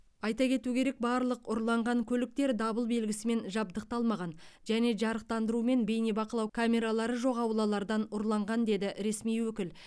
айта кету керек барлық ұрланған көліктер дабыл белгісімен жабдықталмаған және жарықтандыру мен бейнебақылау камералары жоқ аулалардан ұрланған деді ресми өкіл